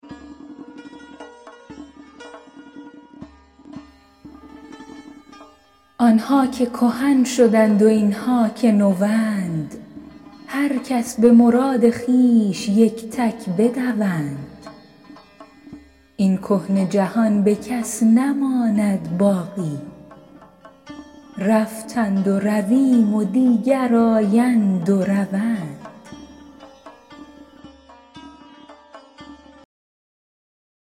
آن ها که کهن شدند و این ها که نوند هر کس به مراد خویش یک تک بدوند این کهنه جهان به کس نماند باقی رفتند و رویم و دیگر آیند و روند